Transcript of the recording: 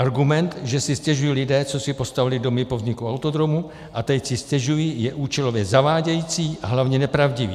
Argument, že si stěžují lidé, co si postavili domy po vzniku autodromu, a teď si stěžují, je účelově zavádějící a hlavně nepravdivý.